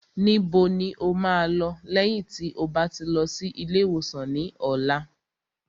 Níbo ni o máa lọ lẹ́yìn tí o bá ti lọ sí ilé ìwòsàn ní ọ̀la?